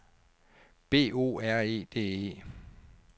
B O R E D E